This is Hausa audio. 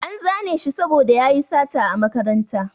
An zane shi saboda yayi sata a makaranta